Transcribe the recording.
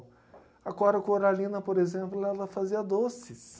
A Cora Coralina, por exemplo, lela fazia doces.